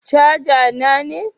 Caja na ne.